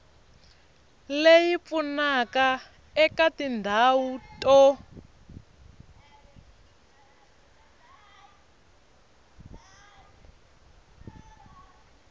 leyi pfunaka eka tindhawu to